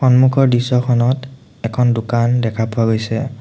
সন্মুখৰ দৃশ্যখনত এখন দোকান দেখা পোৱা গৈছে।